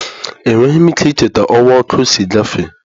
Enweghị m ike icheta ọwa ọkụ si gafe.